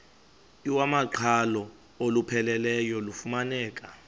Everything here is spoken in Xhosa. iwamaqhalo olupheleleyo lufumaneka